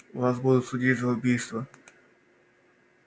вас будут судить за убийство